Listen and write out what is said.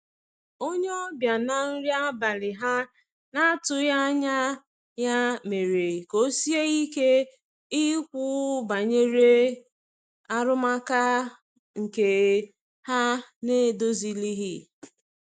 onye obia na nri abali ha na atughi anya ya mere ka osie ike Ikwu banyere arụmaka nke ha na edozilighi.